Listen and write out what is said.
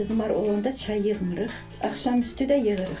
Qızmar olanda çay yığmırıq, axşam üstü də yığırıq.